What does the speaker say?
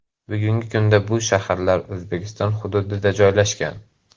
Bugungi kunda bu shaharlar O‘zbekiston hududida joylashgan.